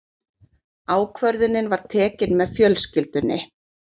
Ákvörðunin var tekin með fjölskyldunni.